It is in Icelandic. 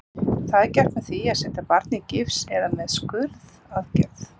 Það er gert með því að setja barnið í gifs eða með skurðaðgerð.